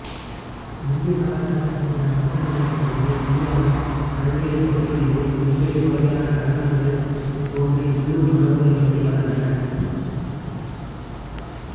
இந்திய கலாச்சாரத்தின் பிற அம்சங்களைப் போலவே இந்தியாவின் பல்வேறு பகுதிகளிலும் வெவ்வேறு வகையான நடனங்கள் தோன்றி உள்ளூர் மரபுகளின்படி வளர்ந்தன